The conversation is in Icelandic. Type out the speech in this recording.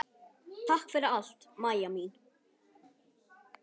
Takk fyrir allt, Maja mín.